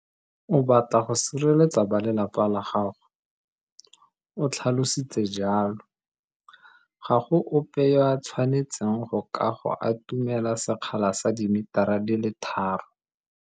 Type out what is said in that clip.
O batla go sireletsa balelapa la gago, o tlhalositse jalo. Ga go ope yo a tshwanetseng go ka go atumela sekgala sa dimitara di le tharo.